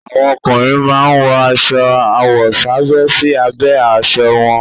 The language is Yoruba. Àwọn ọkùnrin máa ń wọ aṣọ àwọ̀sábẹ́ sí abẹ́ aṣọ wọn.